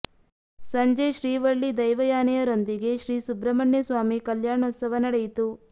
ಸಂಜೆ ಶ್ರೀ ವಳ್ಳಿ ದೈವಯಾನೆಯರೊಂದಿಗೆ ಶ್ರೀ ಸುಬ್ರಮಣ್ಯ ಸ್ವಾಮಿ ಕಲ್ಯಾಣೋತ್ಸವ ನಡೆಯಿತು